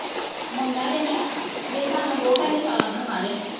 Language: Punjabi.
ਮੁੰਡਾ ਜੰਮਿਆ, ਮੇਰੇ ਹਿਸਾਬ ਨਾਲ ਦੋ ਢਾਈਆਂ ਸਾਲਾਂ ਦਾ ਹੋਣਾ, ਹਜੇ,